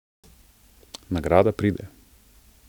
Nagrada pride.